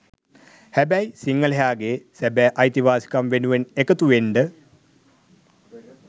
හැබැයි සිංහලයාගේ සැබෑ අයිතිවාසිකම් වෙනුවෙන් එකතුවෙන්ඩ